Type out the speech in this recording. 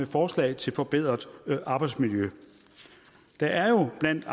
forslag til forbedret arbejdsmiljø der er jo blandt